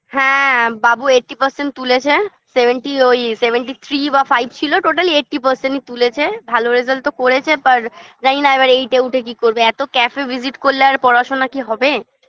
হ্যাঁ বাবু eighty percent তুলেছে seventy ওই seventy three বা five ছিল total eighty percent -ই তুলেছে ভালো result তো করেছে পর জানিনা এবার eight -এ উঠে কি করবে এতো cafe -এ visit করলে আর পড়াশোনা কি হবে